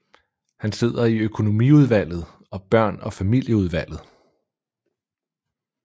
Han sidder i økonomiudvalget og børn og familieudvalget